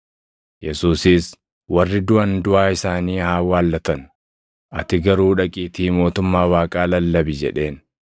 Yesuusis, “Warri duʼan duʼaa isaanii haa awwaallatan; ati garuu dhaqiitii mootummaa Waaqaa lallabi” jedheen.